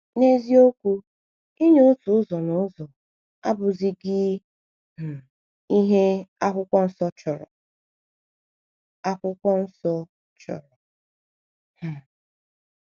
N’eziokwu, inye otu ụzọ n’ụzọ (tithing) abụghịzi um ihe Akwụkwọ Nsọ chọrọ. Akwụkwọ Nsọ chọrọ. um